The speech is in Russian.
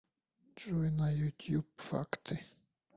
джой на ютуб факты